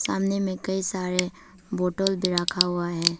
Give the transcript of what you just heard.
सामने में कई सारे बाटल भी रखा हुआ हैं।